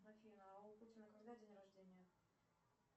афина а у путина когда день рождения